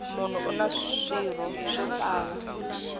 munhu una swirho swo tala